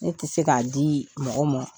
Ne tɛ se k'a di mɔgɔw mon.